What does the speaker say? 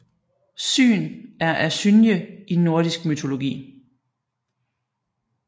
Syn er asynje i nordisk mytologi